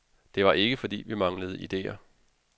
Det var ikke fordi, vi manglede ideer.